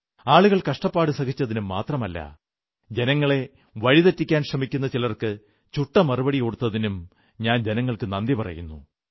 ആളുകൾ കഷ്ടപ്പാടുകൾ സഹിച്ചതിനു മാത്രമല്ല ജനങ്ങളെ വഴി തെറ്റിക്കാൻ ശ്രമിക്കുന്ന ചിലർക്ക് ചുട്ട മറുപടിയും കൊടുത്തതിനും ഞാൻ ജനങ്ങൾക്ക് നന്ദി പറയുന്നു